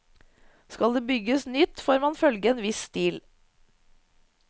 Skal det bygges nytt, får man følge en viss stil.